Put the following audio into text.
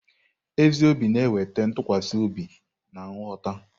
Ezi obi na-eweta ntụkwasị obi na nghọta.